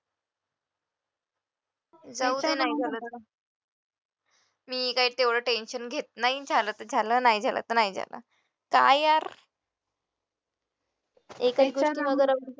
मी काय तेवढ tension घेत नाही झालं तर झालं नाही झालं तर नाही झालं काय यार